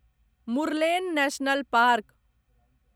Murlen national park